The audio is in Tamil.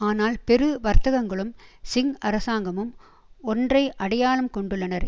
ஆனால் பெரு வர்த்தகங்களும் சிங் அரசாங்கமும் ஒன்றை அடையாளம் கொண்டுள்ளனர்